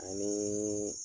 Ani